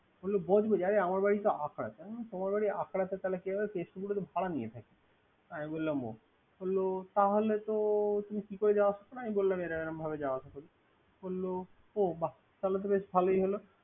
বললো বজবলি আরে আমার বাড়ি তো আখড়াতে। আমি বললাম তোমার বাড়ি আখড়াতে তাহকে কিভাবে ভাড়া নিয়ে থাকি। আমি বললাম ও। বললো তাহলে তুমি কি করে আসা যাওয়া আসা করো? আমি বললাম এইরম এইরমভাবে যাওয়া আসা করি। বললো ও বাহ্‌ তাহলে তো বেশ ভালোই হলো।